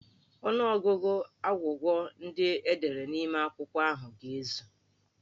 Ọnụọgụgụ agwụgwa ndị e dere n'ime akwụkwọ ahụ ga-ezu.